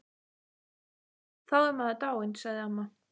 Já, þá er maður dáinn, sagði amma.